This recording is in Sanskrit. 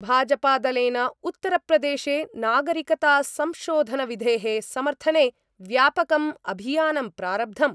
भाजपादलेन उत्तरप्रदेशे नागरिकतासंशोधनविधे: समर्थने व्यापकम् अभियानं प्रारब्धम्।